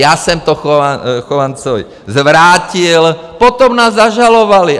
Já jsem to Chovancovi zvrátil, potom nás zažalovali.